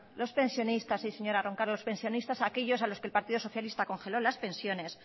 los pensionistas sí señora roncal los pensionistas aquellos a los que el partido socialista congeló las pensiones